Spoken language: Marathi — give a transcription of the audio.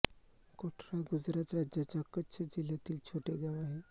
कोठरा गुजरात राज्याच्या कच्छ जिल्ह्यातील छोटे गाव आहे